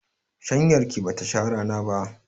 Shanyar ki bata sha rana ba.